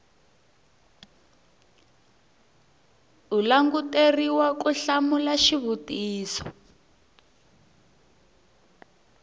u languteriwa ku hlamula xivutiso